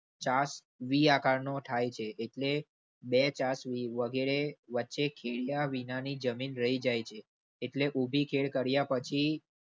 વી આકાર નો થાય છે એટલે બે વગેરે વચ્ચે ખેડિયા વિનાની જમીન રહી જાય છે. એટલે ઉભી ખેડ કાર્ય પછી